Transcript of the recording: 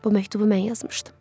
Bu məktubu mən yazmışdım.